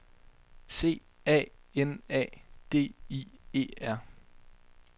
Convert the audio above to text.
C A N A D I E R